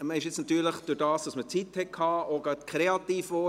Man wurde jetzt natürlich dadurch, dass man Zeit hatte, auch gleich kreativ;